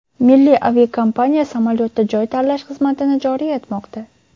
Milliy aviakompaniya samolyotda joy tanlash xizmatini joriy etmoqda.